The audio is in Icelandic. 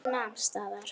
Hún nam staðar.